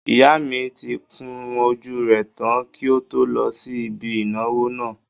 Ìyá mi tí kun ojú rẹ̀ tán kí ó tó lọ sí ibi ìnáwó náà